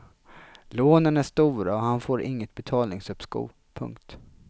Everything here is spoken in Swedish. Lånen är stora och han får inget betalningsuppskov. punkt